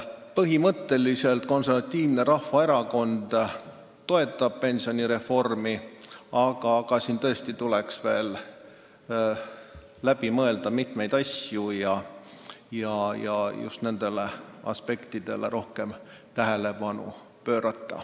Põhimõtteliselt Konservatiivne Rahvaerakond toetab pensionireformi, aga tõesti tuleks veel läbi mõelda mitmeid asju ja just nendele aspektidele rohkem tähelepanu pöörata.